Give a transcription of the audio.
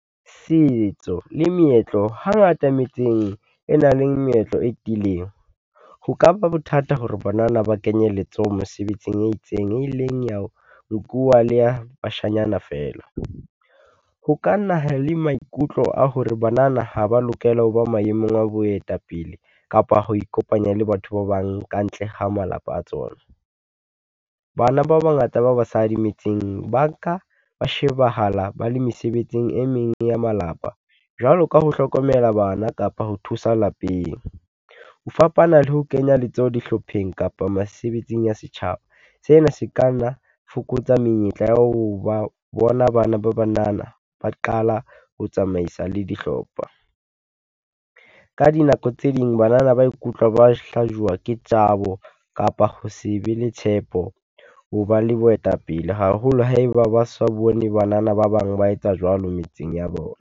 Setso le meetlo, hangata metseng e nang le meetlo e tiileng. Ho ka ba bothata hore banana ba kenye letsoho mosebetsing e itseng, e leng ya nkuwa le a bashanyana feela. Ho ka naha le maikutlo a hore banana ha ba lokela ho ba maemong a boetapele kapa ho ikopanya le batho ba bang kantle ha malapa a tsona. Bana ba bangata ba basadi metseng ba nka ba shebahala ba le mesebetsing e meng ya malapa jwalo ka ho hlokomela bana kapa ho thusa lapeng. Ho fapana le ho kenya letsoho dihlopheng kapa mesebetsing ya setjhaba. Sena se ka nna fokotsa menyetla ya ho ba bona bana ba banana ba qala ho tsamaisa le dihlopha. Ka dinako tse ding banana ba ikutlwa ba hlajuwa ke tsabo, kapa ho se be le tshepo, ho ba le boetapele haholo ha e ba ba sa bone banana ba bang ba etsa jwalo metseng ya bona.